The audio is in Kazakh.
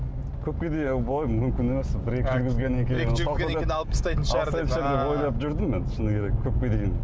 көпке дейін мүмкін емес осы бір екі жүргізгеннен кейін ойлап жүрдім мен шыны керек көпке дейін